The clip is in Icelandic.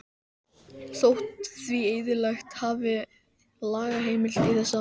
Þótti því eðlilegt að hafa lagaheimild í þessa átt.